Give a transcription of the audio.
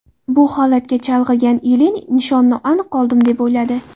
Bu holatga chalg‘igan Ilin nishonni aniq oldim deb o‘yladi.